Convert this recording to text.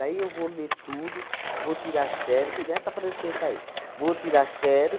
Daí eu vou ler tudo, vou tirar xerox, dá essa prancheta aí, vou tirar